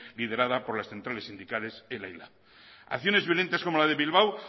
liderada por las centrales sindicales ela y lab acciones violentas como la de bilbao